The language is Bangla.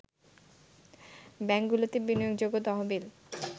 ব্যাংকগুলোতে বিনিয়োগযোগ্য তহবিল